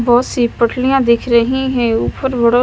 बहुत सी पोटलिया दिख रही है ऊपर बड़ा--